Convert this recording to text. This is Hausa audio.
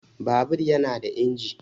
Babur yana da inji